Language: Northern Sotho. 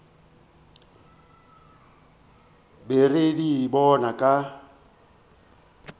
be re di bona ka